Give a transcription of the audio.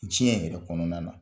Diɲɛ yɛrɛ kɔnɔna na.